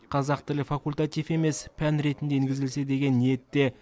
қазақ тілі факультатив емес пән ретінде енгізілсе деген ниетте